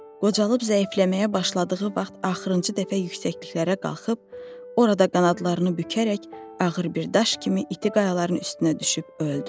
Qocalıb zəifləməyə başladığı vaxt axırıncı dəfə yüksəkliklərə qalxıb orada qanadlarını bükərək ağır bir daş kimi iti qayaların üstünə düşüb öldü.